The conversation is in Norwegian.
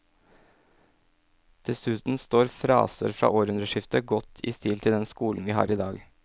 Dessuten står fraser fra århundreskiftet godt i stil til den skolen vi har i dag.